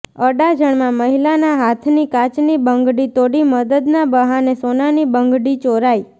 અડાજણમાં મહિલાના હાથની કાચની બંગડી તોડી મદદના બહાને સોનાની બંગડી ચોરાઇ